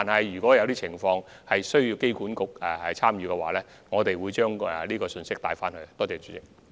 如果有情況需要機管局參與，我們會把信息向他們轉述。